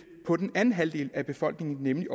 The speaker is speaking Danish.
på den anden halvdel af befolkningen nemlig